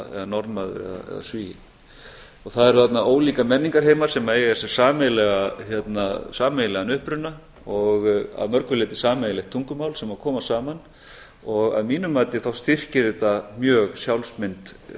norðmaður eða svíi það eru þarna ólíkir menningarheimar sem eiga sér sameiginlegan uppruna og að mörgu leyti sameiginlegt tungumál sem koma saman og að mínu mati styrkir þetta mjög sjálfsmynd